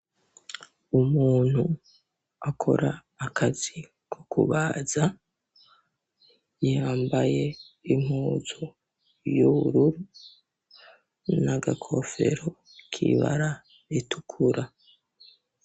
Umuntu akora akazi ko kubaza, yambaye impuzu y'ubururu n'agakofero k'ibara ritukura.